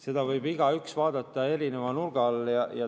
Seda võib igaüks vaadata erineva nurga alt.